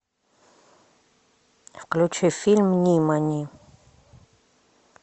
включи фильм нимани